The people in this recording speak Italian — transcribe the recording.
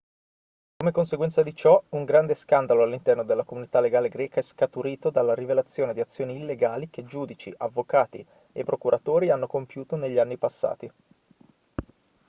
come conseguenza di ciò un grande scandalo all'interno della comunità legale greca è scaturito dalla rivelazione di azioni illegali che giudici avvocati e procuratori hanno compiuto negli anni passati